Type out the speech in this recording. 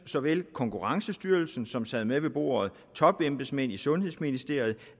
så vel konkurrencestyrelsen som sad med ved bordet topembedsmænd i sundhedsministeriet